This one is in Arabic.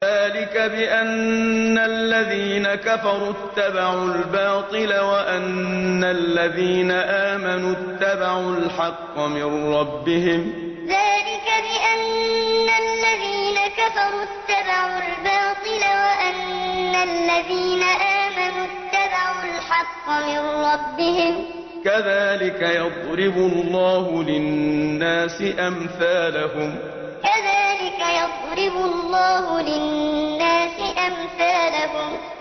ذَٰلِكَ بِأَنَّ الَّذِينَ كَفَرُوا اتَّبَعُوا الْبَاطِلَ وَأَنَّ الَّذِينَ آمَنُوا اتَّبَعُوا الْحَقَّ مِن رَّبِّهِمْ ۚ كَذَٰلِكَ يَضْرِبُ اللَّهُ لِلنَّاسِ أَمْثَالَهُمْ ذَٰلِكَ بِأَنَّ الَّذِينَ كَفَرُوا اتَّبَعُوا الْبَاطِلَ وَأَنَّ الَّذِينَ آمَنُوا اتَّبَعُوا الْحَقَّ مِن رَّبِّهِمْ ۚ كَذَٰلِكَ يَضْرِبُ اللَّهُ لِلنَّاسِ أَمْثَالَهُمْ